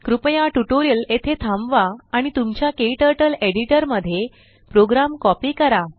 कृपया ट्यूटोरियल येथे थांबवा आणि तुमच्या क्टर्टल एडिटर मध्ये प्रोग्राम कॉपी करा